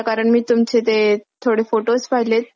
कारण मी तुमचे ते थोडे photos पहिले वाढदिवसाचे